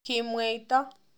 Kimweito